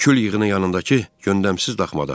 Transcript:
Kül yığını yanındakı göndəmsiz daxmada.